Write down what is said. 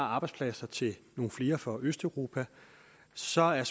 arbejdspladser til nogle flere fra østeuropa svaret